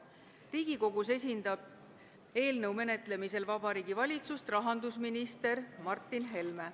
Riigikogus esindab eelnõu menetlemisel Vabariigi Valitsust rahandusminister Martin Helme.